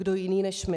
Kdo jiný než my.